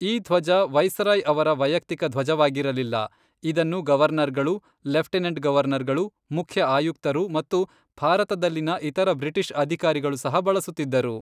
ಈ ಧ್ವಜ ವೈಸರಾಯ್ ಅವರ ವೈಯಕ್ತಿಕ ಧ್ವಜವಾಗಿರಲಿಲ್ಲ, ಇದನ್ನು ಗವರ್ನರ್ಗಳು, ಲೆಫ್ಟಿನೆಂಟ್ ಗವರ್ನರ್ಗಳು, ಮುಖ್ಯ ಆಯುಕ್ತರು ಮತ್ತು ಭಾರತದಲ್ಲಿನ ಇತರ ಬ್ರಿಟಿಷ್ ಅಧಿಕಾರಿಗಳು ಸಹ ಬಳಸುತ್ತಿದ್ದರು.